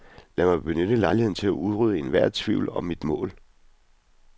Lad mig benytte lejligheden til at udrydde enhver tvivl om mit mål.